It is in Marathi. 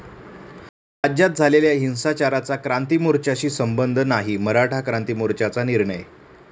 राज्यात झालेल्या हिंसाचाराचा क्रांती मोर्च्याशी संबंध नाही, मराठा क्रांती मोर्चाचा निर्णय